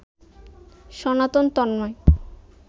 Sanatan Tanmoy